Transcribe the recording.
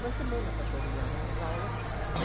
Uma semana para terminar as aulas.